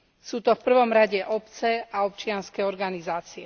Sú to v prvom rade obce a občianske organizácie.